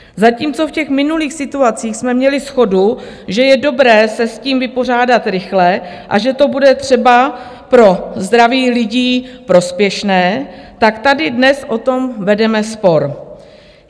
Zatímco v těch minulých situacích jsme měli shodu, že je dobré se s tím vypořádat rychle a že to bude třeba pro zdraví lidí prospěšné, tak tady dnes o tom vedeme spor.